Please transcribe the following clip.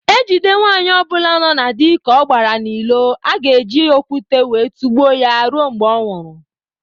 Ejide nwaanyị obula no na dị ka ọ gbara n' ilo aga ebi okwute wee tugbuo ya rue mgbe ọnwuru